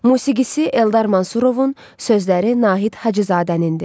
Musiqisi Eldar Mansurovun, sözləri Nahid Hacızadəninndir.